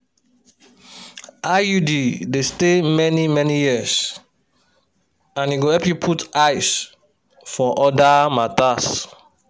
iud dey stay many-many years and e go help you put eyes for other matters.